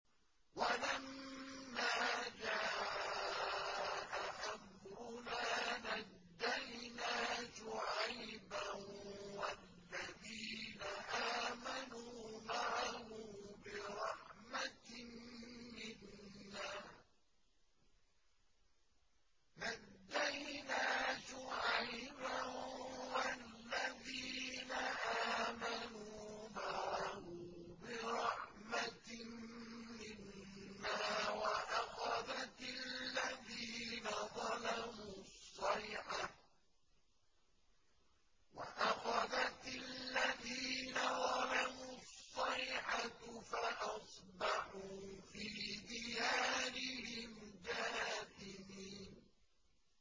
وَلَمَّا جَاءَ أَمْرُنَا نَجَّيْنَا شُعَيْبًا وَالَّذِينَ آمَنُوا مَعَهُ بِرَحْمَةٍ مِّنَّا وَأَخَذَتِ الَّذِينَ ظَلَمُوا الصَّيْحَةُ فَأَصْبَحُوا فِي دِيَارِهِمْ جَاثِمِينَ